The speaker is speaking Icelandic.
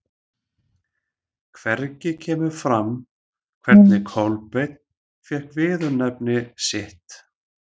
Hvergi kemur fram hvernig Kolbeinn fékk viðurnefni sitt.